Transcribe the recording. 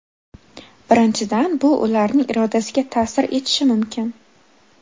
Birinchidan, bu ularning irodasiga ta’sir etishi mumkin.